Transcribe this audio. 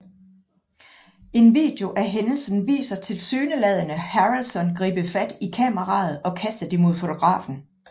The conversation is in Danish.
En video af hændelsen viser tilsyneladende Harrelson gribe fat i kameraet og kaste det mod fotografen